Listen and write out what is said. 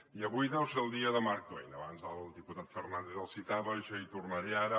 i avui deu ser el dia de mark twain abans el diputat fernàndez el citava jo hi tornaré ara